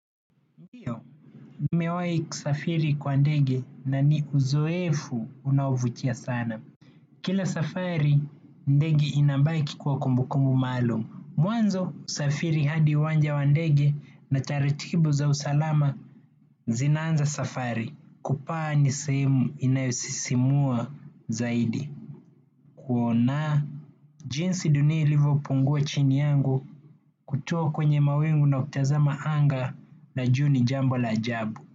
Ndiyo, nimewai kusafiri kwa ndege na ni uzoefu unaovutia sana. Kila safari, ndege inabaki kuwa kumbukumu maalum. Mwanzo, usafiri hadi uwanja wa ndege na taratibu za usalama zinanza safari. Kupaa ni sehemu inayosisimua zaidi. Kuona, jinsi dunia ilivo pungua chini yangu kutuwa kwenye mawingu na kutazama anga la jui ni jambo la ajabu.